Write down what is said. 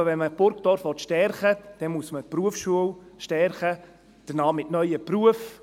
Ich glaube, wenn man Burgdorf stärken will, dann muss man die Berufsschule stärken, mit neuen Berufen.